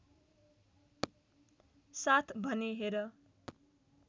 साथ भनेँ हेर